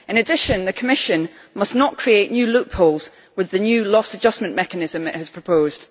In addition, the Commission must not create new loopholes with the new loss adjustment mechanism it has proposed.